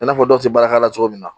I n'a fɔ dɔw tɛ baara k'a la cogo min na